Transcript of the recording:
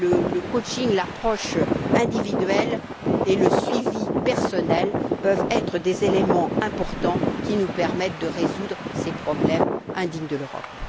le coaching, l'approche individuelle et le suivi personnel peuvent être des éléments importants, qui nous permettent de résoudre ces problèmes indignes de l'Europe.